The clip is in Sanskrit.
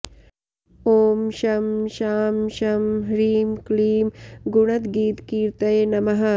ॐ शं शां षं ह्रीं क्लीं गुणद्गीतकीर्त्तये नमः